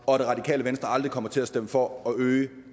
og at det radikale venstre aldrig kommer til at stemme for at øge